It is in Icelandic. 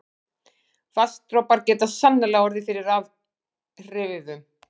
Vatnsdropar geta sannarlega orðið fyrir rafhrifum.